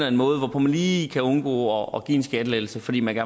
en måde hvorpå man lige kan undgå at give en skattelettelse fordi man